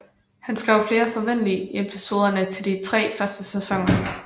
Han skrev flere fv episodene til de tre første sæsoner